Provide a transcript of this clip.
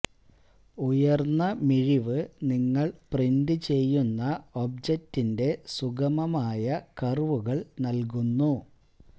ഉയർന്ന മിഴിവ് നിങ്ങൾ പ്രിന്റ് ചെയ്യുന്ന ഓബ്ജറ്റിന്റെ സുഗമമായ കർവുകൾ നൽകുന്നു